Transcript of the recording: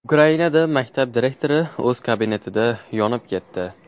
Ukrainada maktab direktori o‘z kabinetida yonib ketdi.